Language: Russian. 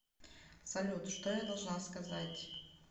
салют что я должна сказать